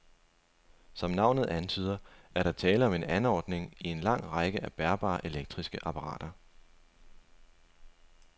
Som navnet antyder, er der tale om en anordning i en lang række af bærbare elektriske apparater.